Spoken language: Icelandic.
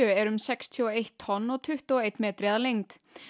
er um sextíu og eitt tonn og tuttugu og einn metri að lengd